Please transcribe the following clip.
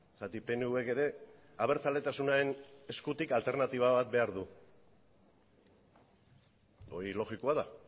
zergatik pnvk ere abertzaletasunaren eskutik alternatiba bat behar du hori logikoa da